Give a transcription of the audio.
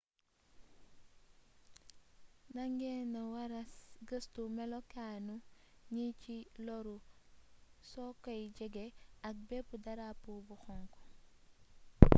nda ngeena wara gëstu melokaanu ñi ci loru so koy jege ak bépp darapo bu xonk